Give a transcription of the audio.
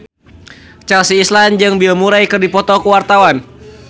Chelsea Islan jeung Bill Murray keur dipoto ku wartawan